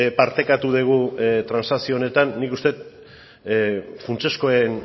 partekatu dugu transakzio honetan nik uste dut funtsezkoen